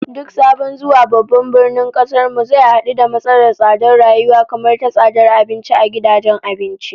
Duk sabon zuwa babban birnin kasar mu zai hadu da matsalar tsadar rayuwa, kamar ta tsadar abinci a gidajen abinci